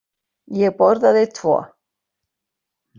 Ég borðaði tvo.